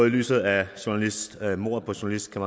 i lyset af af mordet på journalisten